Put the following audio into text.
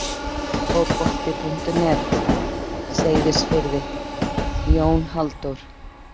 Fótbolti.net, Seyðisfirði- Jón Halldór.